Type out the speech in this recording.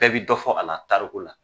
Bɛɛ bɛ dɔ fɔ a la Tariku la.